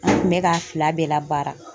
An kun bɛ k'a fila bɛɛ la baara.